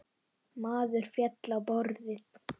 Maður féll á borðið.